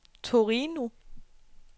Torino